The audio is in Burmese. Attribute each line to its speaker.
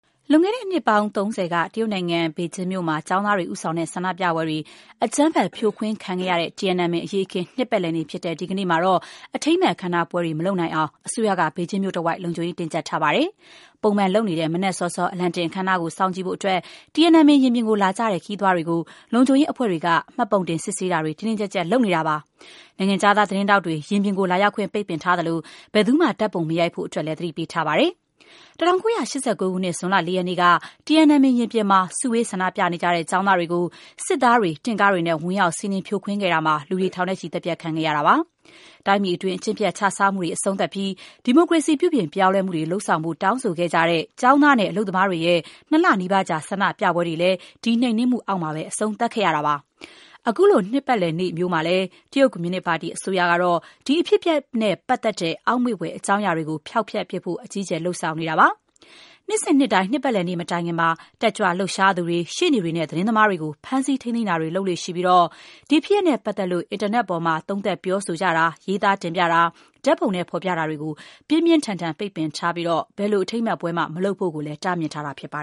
Speaker 1: လွန်ခဲ့တဲ့နှစ်ပေါင်း ၃ဝ က တရုတ်နိုင်ငံ ဘေဂျင်းမြို့မှာ ကျောင်းသားတွေ ဦးဆောင်တဲ့ ဆန္ဒပြပွဲတွေ အကြမ်းဖက် ဖြိုခွင်းခံခဲ့ရတဲ့ Tiananmen အရေးအခင်း နှစ်ပတ်လည်နေ့ ဖြစ်တဲ့ ဒီကနေ့မှာ အထိမ်းအမှတ် အခမ်းအနားပွဲတွေ မလုပ်နိုင်အောင် အစိုးရက ဘေကျင်းမြို့တဝိုက် လုံခြုံရေး တင်းကျပ်ထားပါတယ်။ ပုံမှန်လုပ်နေတဲ့ မနက်စောစော အလံတင်အခမ်းအနားကို ကြည့်ဖို့အတွက် Tiananmen ရင်ပြင်ကိုလာကြတဲ့ ခရီးသွားတွေကို လုံခြုံရေးအဖွဲ့တွေက မှတ်ပုံတင်တွေ စစ်ဆေးတာတွေ တင်းတင်းကျပ်ကျပ် လုပ်ဆောင်နေတာပါ။ နိုင်ငံခြားသား သတင်းထောက်တွေ ရင်ပြင်ကို လာရောက်ခွင့် ပိတ်ထားသလို ဘယ်သူမှ ဓါတ်ပုံ မရိုက်ဖို့လည်း သတိပေးထားပါတယ်။ ၁၉၈၉ ခုနှစ် ဇွန်လ ၄ ရက်နေ့က Tiananmen ရင်ပြင်မှာ စုဝေးဆန္ဒပြနေကြတဲ့ ကျောင်းသားတွေကို စစ်သားတွေ၊ တင့်ကားတွေနဲ့ ဝင်ရောက် စီးနင်း ဖြိုခွင်းခဲ့တာမှာ လူတွေ ထောင်နဲ့ချီ သတ်ဖြတ်ခံခဲ့ရတာပါ။ တိုင်းပြည်တွင်း အကျင့်ပျက်ခြစားမှုတွေ အဆုံးသတ်ပြီး ဒီမိုကရေစီ ပြုပြင်ပြောင်းလဲမှုတွေ လုပ်ဆောင်ဖို့ တောင်းဆိုခဲ့ကြတဲ့ ကျောင်းသားနဲ့ အလုပ်သမားတွေရဲ့ ၂ လနီးပါးကြာ ဆန္ဒပြပွဲတွေလည်း ဒီနှိမ်နင်းမှုအောက်မှာ အဆုံးသတ်ခဲ့ရပါတယ်။ အခုလို နှစ်ပတ်လည်နေ့မျိုးမှာလည်း တရုတ်ကွန်မြူနစ်ပါတီ အစိုးရကတော့ ဒီအဖြစ်အပျက်နဲ့ ပတ်သက်တဲ့ အောက်မေ့ဘွယ် အကြောင်းအရာတွေကို ဖျောက်ဖျက်ဖို့အတွက် အကြီးအကျယ် လုပ်ဆောင်နေတာပါ။ နှစ်စဉ်နှစ်တိုင်း နှစ်ပတ်လည်နေ့ မတိုင်ခင်မှာ တက်ကြွလှုပ်ရှားသူတွေ၊ ရှေ့နေတွေနဲ့ သတင်းသမားတွေကို ဖမ်းဆီးထိန်းသိမ်းတာတွေ လုပ်လေ့ရှိပြီး ဒီဖြစ်ရပ်နဲ့ပတ်သက်လို့ အင်တာနက်ပေါ်ကနေ သုံးသပ်ပြောဆိုတာ၊ ရေးသားတင်ပြတာ၊ ဓာတ်ပုံနဲ့ ဖော်ပြတာတွေကို ပြင်းပြင်းထန်ထန် ပိတ်ပင်ထားသလို၊ ဘယ်လိုအထိမ်းအမှတ်ပွဲမှ မလုပ်ဖို့လည်း တားမြစ်ထားတာ ဖြစ်ပါ